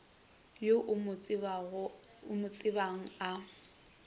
yo o mo tsebang a